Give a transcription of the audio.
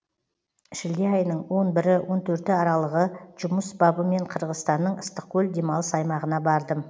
шілде айының он бірі он төрті аралығы жұмыс бабымен қырғызстанның ыстықкөл демалыс аймағына бардым